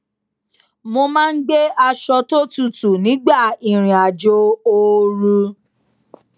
mo máa ń gbé aṣọ tó tutù nígbà ìrìn àjò ooru